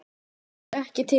Bókina góðu þurfti ekki til.